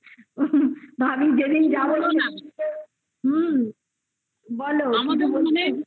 তো আমি যেদিন যাবো সেদিন হুম বলো কি বলছো